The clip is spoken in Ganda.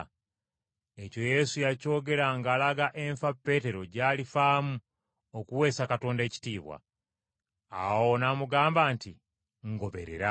Ekyo Yesu yakyogera ng’alaga enfa Peetero gy’alifaamu okuweesa Katonda ekitiibwa. Awo n’amugamba nti, “Ngoberera.”